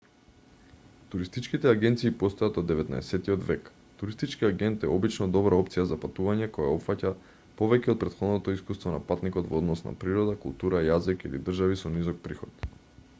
туристичките агенции постојат од 19-тиот век туристички агент е обично добра опција за патување кое опфаќа повеќе од претходното искуство на патникот во однос на природа култура јазик или држави со низок приход